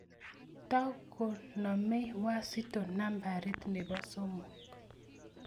Tokonomei Wazito nambarit ne bo somok.